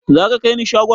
Za ka kaini shagon?